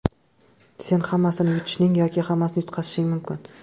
Sen hammasini yutishing yoki hammasini yutqazishing mumkin.